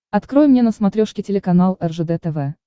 открой мне на смотрешке телеканал ржд тв